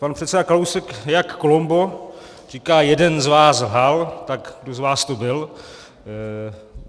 Pan předseda Kalousek, jak Columbo, říká: jeden z vás lhal, tak kdo z vás to byl?